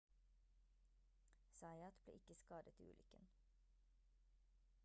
zayat ble ikke skadet i ulykken